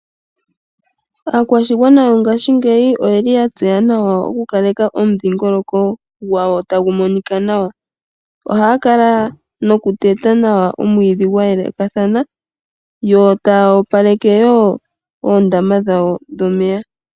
Aakwashigwana yongaashingeyi oyeli ya tseya nawa oku kaleka omidhiingoloko gwawo tagu monika nawa. Ohaya kala noku teta nawa omwiidhi gweelekathana . Yo taya opaleke woo oondama dhawo dhomeya.